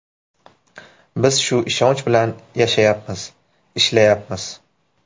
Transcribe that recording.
Biz shu ishonch bilan yashayapmiz, ishlayapmiz.